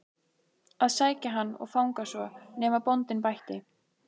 að sækja hann og fanga svo, nema bóndinn bætti.